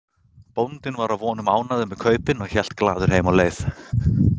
Bóndinn var að vonum ánægður með kaupin og hélt glaður heim á leið.